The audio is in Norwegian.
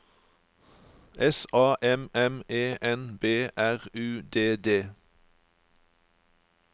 S A M M E N B R U D D